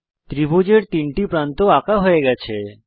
ত্রিভুজের 3 টি প্রান্ত আঁকা হয়ে গেছে